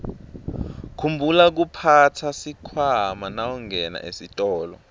khumbula kuphatsa sikhwama nawungena esitolo